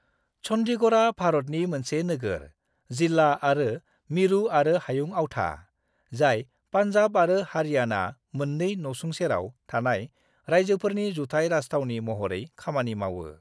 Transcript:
चंडीगढ़आ भारतनि मोनसे नोगोर, जिल्ला आरो मिरुआरो हायुं आवथा, जाय पान्जाब आरो हारियाणा मोननै न'सुंसेराव थानाय रायजोफोरनि जुथाइ राजथावनि महरै खामानि मावो।